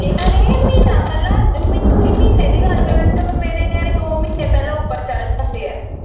ਇਹਨਾਂ ਨੇ ਮਹੀਨਾ ਪਹਿਲਾ ਤੁਸੀ ਮਹੀਨੇ ਦੀ ਗੱਲ ਕਰਨ ਦੇ ਮੇਰੇ ਨਿਆਣੇ ਦੋਹ ਮਹੀਨੇ ਪਹਿਲਾ ਉੱਪਰ ਚੜ੍ਹ ਜਾਂਦੇ ਆ।